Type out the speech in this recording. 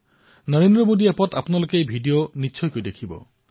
নমো এপতো আপোনালোকে সেই ভিডিঅ নিশ্চয়কৈ চাওক